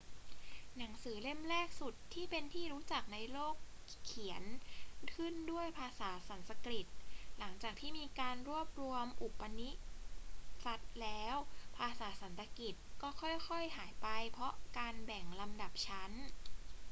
หนังสือเล่มแรกสุดที่เป็นที่รู้จักในโลกเขียนขึ้นด้วยภาษาสันสกฤต หลังจากที่มีการรวบรวมอุปนิษัทแล้ว ภาษาสันสกฤตก็ค่อย ๆ หายไปเพราะการแบ่งลำดับชั้น